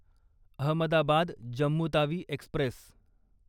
Ahmedabad Jammu Tawi Express